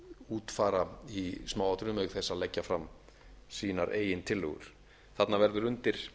útfæra í smáatriðum auk þess að leggja fram sínar eigin tillögur þarna verður undir